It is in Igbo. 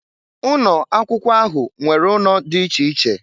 Ụnọ akwụkwọ ahụ nwere ụnọ dị dị iche iche.